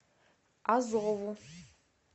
азову